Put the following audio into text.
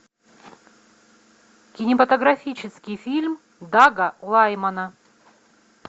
кинематографический фильм дага лаймана